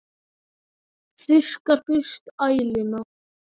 Þurrkar burt æluna.